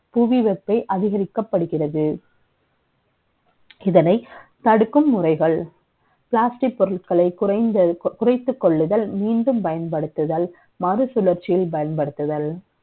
புவி வெப்பத்தை அதிகரிக்கப்படுகிறது. இதனை தடுக்கும் முறைகள் Plastic பொருட்கள குறை ந்து குறை த்துக் கொள்ளுதல், மீண்டும் பயன்படுத்துதல், மறுசுழற்சியில் பயன்படுத்துதல்